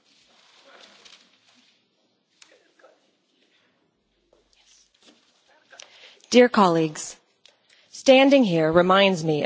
Mr President, standing here reminds me of the first time I entered this grand Chamber.